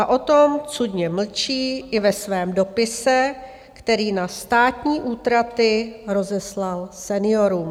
A o tom cudně mlčí i ve svém dopise, který na státní útraty rozeslal seniorům.